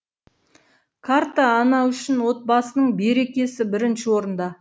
ана үшін отбасының берекесі бірінші орында